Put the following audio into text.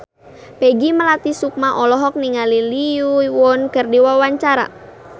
Peggy Melati Sukma olohok ningali Lee Yo Won keur diwawancara